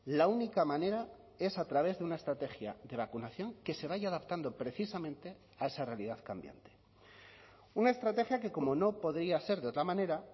la única manera es a través de una estrategia de vacunación que se vaya adaptando precisamente a esa realidad cambiante una estrategia que como no podría ser de otra manera